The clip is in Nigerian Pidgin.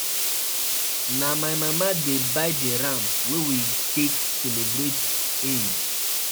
Na my mama dey buy di ram wey we we take celebrate Eid.